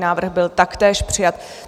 Návrh byl taktéž přijat.